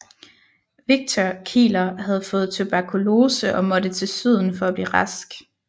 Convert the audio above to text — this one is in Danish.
Victor Kieler havde fået tuberkulose og måtte til syden for at blive rask